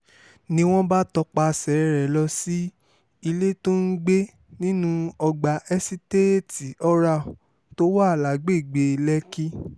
ni wọ́n bá tọpasẹ̀ rẹ̀ lọ sí ilé tó ń gbé nínú ọgbà èsiteetí oral tó wà lágbègbè lẹ́kì